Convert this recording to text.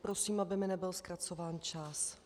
Prosím, aby mi nebyl zkracován čas.